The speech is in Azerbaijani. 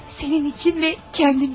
Sənin üçün və özüm üçün.